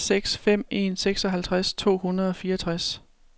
fire seks fem en seksoghalvtreds to hundrede og fireogtres